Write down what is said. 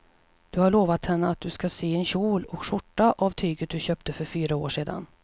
Du har lovat henne att du ska sy en kjol och skjorta av tyget du köpte för fyra år sedan.